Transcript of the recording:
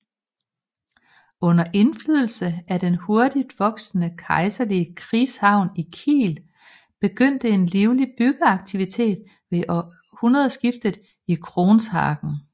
Under indflydelse af den hurtigt voksende kejserlige krigshavn i Kiel begyndte en livlig byggeaktivitet ved århundredeskiftet i Kronshagen